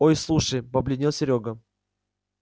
ой слушай побледнел серёга